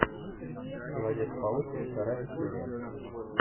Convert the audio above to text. человек паук вторая серия